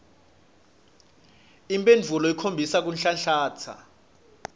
imphendvulo ikhombisa kunhlanhlatsa